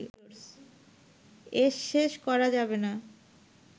এর শেষ করা যাবে না